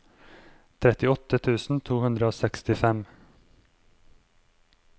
trettiåtte tusen to hundre og sekstifem